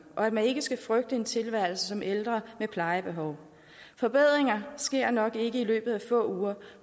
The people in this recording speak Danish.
og at man ikke skal frygte en tilværelse som ældre med plejebehov forbedringer sker nok ikke i løbet af få uger